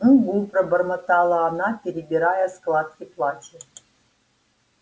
угу пробормотала она перебирая складки платья